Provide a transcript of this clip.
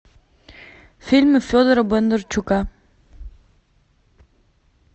фильмы федора бондарчука